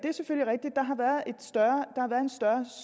der har været en større